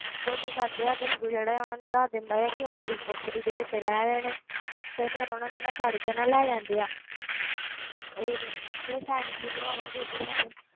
ਤੇ ਉਹ ਕੀ ਕਰਦੇ ਆ ਗੰਗੂ ਜਿਹੜਾ ਹੈ ਉਹਨਾਂ ਨੂੰ ਦੱਸ ਦਿੰਦਾ ਹੈ ਕਿ ਉਹ ਮੇਰੀ ਕੋਠੜੀ ਦੇ ਵਿੱਚ ਰਹਿ ਰਹੇ ਨੇ ਤੇ ਫਿਰ ਉਹਨਾਂ ਨੂੰ ਨਾ ਫੜਕੇ ਨਾ ਲੈ ਜਾਂਦੇ ਆ ਇਹ ਜਿਹੜੇ ਸੈਨਿਕ ਸੀਗੇ ਔਰੰਗਜ਼ੇਬ ਦੇ ਸੈਨਿਕ,